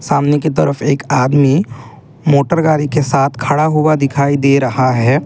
सामने की तरफ एक आदमी मोटर गाड़ी के साथ खड़ा हुआ दिखाई दे रहा है।